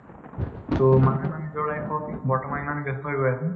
তʼ মানুহে মানে নিজৰ life ত বৰ্তমান ইমান ব্য়স্ত হৈ গৈ আছে